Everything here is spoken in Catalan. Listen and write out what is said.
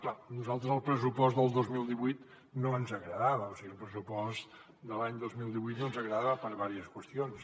clar a nosaltres el pressupost del dos mil divuit no ens agradava o sigui el pressupost de l’any dos mil divuit no ens agrada per diverses qüestions